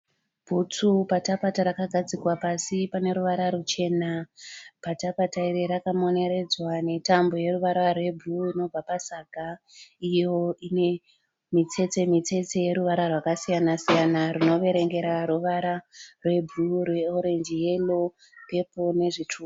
Bhutsu pata pata rakagadzikwa pasi pane ruvara ruchena. Pata pata iri rakamoneredzwa netambo yeruvara rwebhuruu inobva pasaga. Iyo ine mitsetse mitsetse yeruvara rwakasiyana siyana rinoverengera ruvara rwebhuruu, rweorenji, yero, pepuru nezvitsvuku.